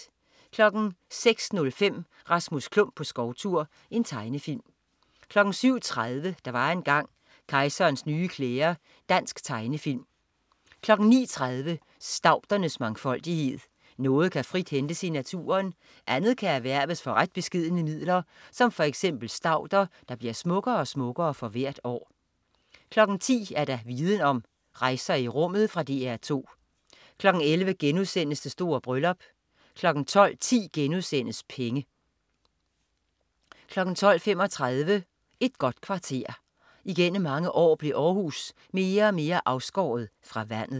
06.05 Rasmus Klump på skovtur. Tegnefilm 07.30 Der var engang. Kejserens nye klæder. Dansk tegnefilm 09.30 Staudernes mangfoldighed. Noget kan frit hentes i naturen, andet kan erhverves for ret beskedne midler, som f.eks. stauder, der bliver smukkere og smukkere for hvert år 10.00 Viden Om: Rejser i rummet. Fra DR 2 11.00 Det store bryllup* 12.10 Penge* 12.35 Et godt kvarter. Igennem mange år blev Århus mere og mere afskåret fra vandet